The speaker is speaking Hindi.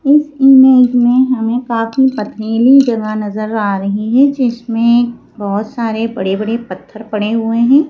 इस इमेज में हमें काफी पथरीली जगह नजर आ रही है जिसमें बहुत सारे बड़े-बड़े पत्थर पड़े हुए हैं।